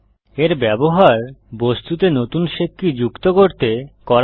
এর ব্যবহার বস্তুতে নতুন শেপ কী যুক্ত করতে করা হয়